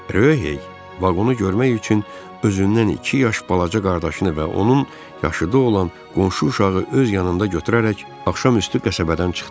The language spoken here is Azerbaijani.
Ryohey vaqonu görmək üçün özündən iki yaş balaca qardaşını və onun yaşıdı olan qonşu uşağı öz yanında götürərək axşamüstü qəsəbədən çıxdı.